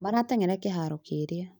Marateng'erera kĩharo kĩrĩa